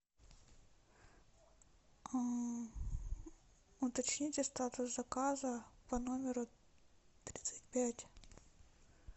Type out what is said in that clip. уточните статус заказа по номеру тридцать пять